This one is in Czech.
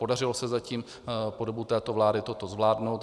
Podařilo se zatím po dobu této vlády toto zvládnout.